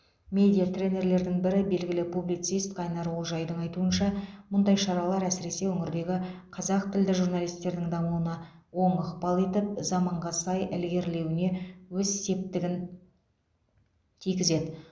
медиа тренерлердің бірі белгілі публицист қайнар олжайдың айтуынша мұндай шаралар әсіресе өңірдегі қазақ тілді журналистердің дамуына оң ықпал етіп заманға сай ілгерлеуіне өз септігін тигізеді